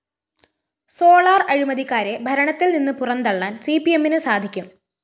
solar അഴിമതിക്കാരെ ഭരണത്തിൽനിന്ന് പുറന്തള്ളാൻ സിപിഎമ്മിന് സാധിക്കും